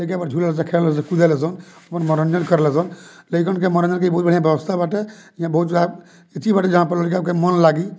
ए के बाद झूला से अपन मनोरंजन कर लतो लइकन के मन में की इ बहुत बढ़िया व्यवस्था बाटे इहा बहुत अथी बाटे जहां पर लइकन के मौन लगी।